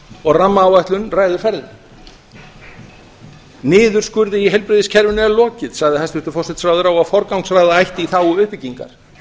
og rammaáætlun ræður ferðinni niðurskurði í heilbrigðiskerfinu er lokið sagði forsætisráðherra og að forgangsraða ætti í þágu uppbyggingar